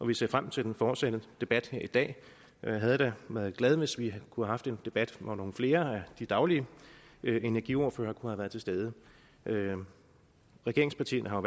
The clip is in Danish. vi ser frem til den fortsatte debat her i dag jeg havde da været glad hvis vi kunne have haft en debat hvor nogle flere af de daglige energiordførere kunne have været til stede regeringspartierne har